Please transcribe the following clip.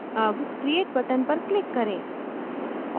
अब create button पर click करें